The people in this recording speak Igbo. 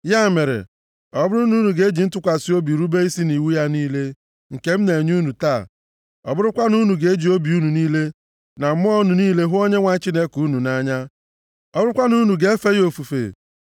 Ya mere, ọ bụrụ na unu ga-eji ntụkwasị obi rube isi nʼiwu ya niile, nke m na-enye unu taa, ọ bụrụkwa na unu ga-eji obi unu niile na mmụọ unu niile hụ Onyenwe anyị Chineke unu nʼanya, ọ bụrụkwa na unu ga-efe ya ofufe,